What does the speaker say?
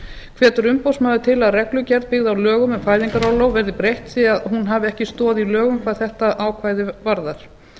hvetur umboðsmaður til að reglugerð byggð á lögum um fæðingarorlof verði breytt því að hún hafi ekki stoð í lögum hvað þetta þetta ákvæði varðar